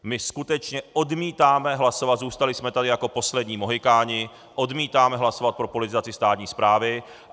My skutečně odmítáme hlasovat, zůstali jsme tady jako poslední mohykáni, odmítáme hlasovat pro politizaci státní správy.